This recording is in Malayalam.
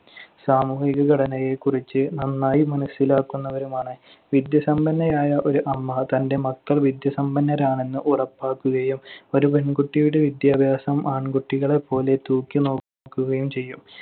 സാമൂഹിക ഘടനയെക്കുറിച്ച് നന്നായി മനസ്സിലാക്കുന്നവരുമാണ്. വിദ്യാസമ്പന്നയായ ഒരു അമ്മ തന്‍റെ മക്കൾ വിദ്യാസമ്പന്നരാണെന്ന് ഉറപ്പാക്കുകയും ഒരു പെൺകുട്ടിയുടെ വിദ്യാഭ്യാസം ആൺകുട്ടികളെപ്പോലെ തൂക്കിനോക്കുകയും ചെയ്യും.